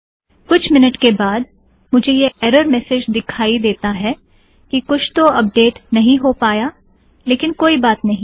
कुछ मिन्यूट के बाद मुझे यह एरर मेसेज दिखाई देता है कि कुछ तो अपडेट नहीं हो पाया लेकिन कोई बात नहीं